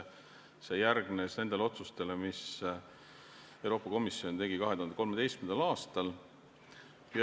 See järgnes nendele otsustele, mis Euroopa Komisjon tegi 2013. aastal.